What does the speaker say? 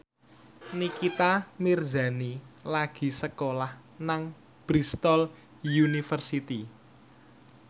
Nikita Mirzani lagi sekolah nang Bristol university